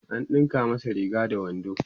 an ɗinka masa Riga da wando